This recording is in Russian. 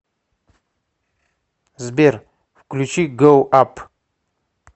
сбер включи гоу ап